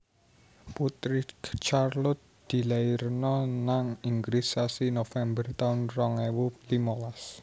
Putri Charlotte dilairno nang Inggris sasi November taun rong ewu limolas